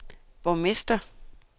borgmester